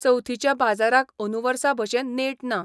चवथीच्या बाजाराक अंदु वर्सा भशेन नेट ना.